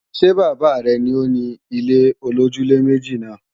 Ṣé bàbá rẹ ni òni ilé-olójúlé-méjì náà?